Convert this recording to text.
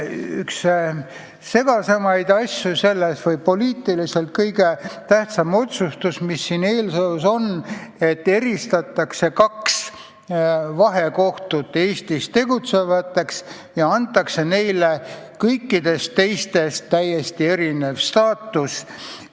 Üks segasemaid asju ja poliitiliselt kõige tähtsam otsustus selles eelnõus on, et tehakse erand kahele Eestis tegutsevale vahekohtule: neile antakse kõikidest teistest täiesti erinev staatus.